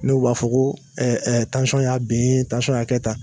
N'u b'a fɔ ko kɛ tan